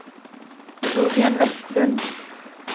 Torbjörn Westlund